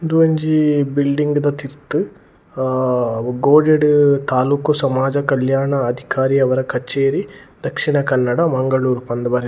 ಉಂದೊಂಜಿ ಬಿಲ್ಡಿಂಗ್ ದ ತಿರ್ತ್ ಅಹ್ ಗೋಡೆಡ್ ತಾಲೂಕ್ ಸಮಾಜ ಕಲ್ಯಾಣ ಅಧಿಕಾರಿಯವರ ಕಚೇರಿ ದಕ್ಷಿಣ ಕನ್ನಡ ಮಂಗಳೂರು ಪಂದ್ ಬರೆ --